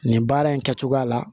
Nin baara in kɛcogoya la